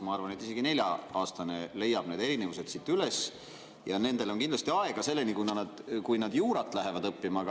Ma arvan, et isegi nelja‑aastane leiab need erinevused siit üles, kuigi nendel on kindlasti aega selleni, kui nad juurat lähevad õppima.